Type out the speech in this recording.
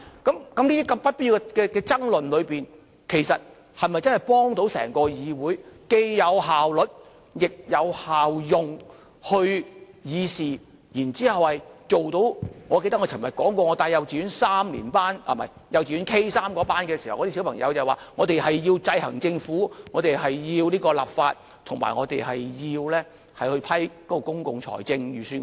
這些不必要的爭論，其實是否真的幫到整個議會，既有效率，亦有效用去議事，然後做到——我記得我昨天說過，我帶着幼稚園 K3 團體參觀時，小朋友問如何制衡政府，如何立法，以及如何審批公共財政預算案？